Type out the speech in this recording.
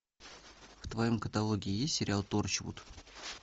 в твоем каталоге есть сериал торчвуд